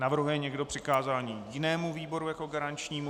Navrhuje někdo přikázání jinému výboru jako garančnímu?